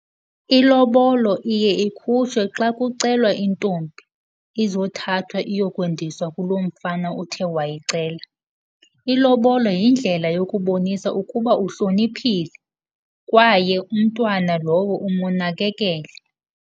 Ilobolo iye ikhutshwe xa kucelwa intombi, izothathwa iyokwendiswa kuloo mfana uthe wayicela. Ilobolo yindlela yokubonisa ukuba uhloniphile kwaye umntwana lowo umunakekele.